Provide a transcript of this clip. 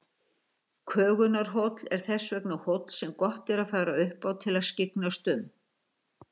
Kögunarhóll er þess vegna hóll sem gott að fara upp á til að skyggnast um.